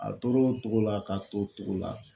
A toro o togo la k'a to togo la